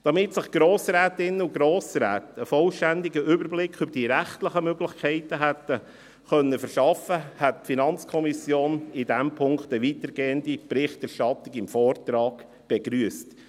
Damit sich die Grossrätinnen und Grossräte einen vollständigen Überblick über die rechtlichen Möglichkeiten hätten verschaffen können, hätte die FiKo in diesem Punkt eine weitergehende Berichterstattung im Vortrag begrüsst.